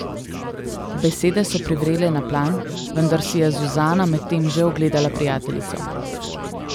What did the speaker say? Besede so privrele na plan, vendar si je Zuzana med tem že ogledala prijateljico.